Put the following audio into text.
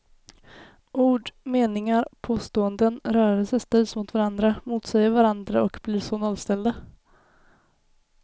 Ord, meningar, påståenden, rörelser ställs mot varandra, motsäger varandra och blir så nollställda.